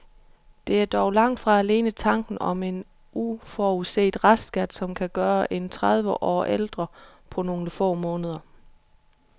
Det er dog langt fra alene tanken om en uforudset restskat, som kan gøre en tredive år ældre på nogle få måneder.